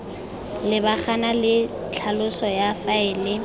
lebagana le tlhaloso ya faele